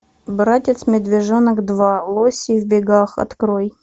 братец медвежонок два лоси в бегах открой